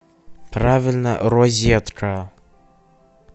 правильно розетка